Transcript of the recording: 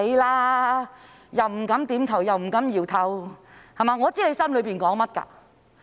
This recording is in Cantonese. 你既不敢點頭，又不敢搖頭，我知道你心底裏想甚麼。